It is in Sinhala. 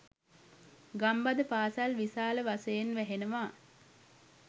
ගම්බද පාසල් විශාල වශයෙන් වැහෙනවා.